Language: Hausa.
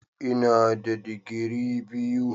Ina da digiri biyu.